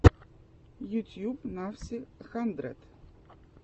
ютьюб навси хандрэд